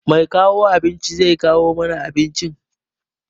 Mai kawo abinci zai kawo mana abincin.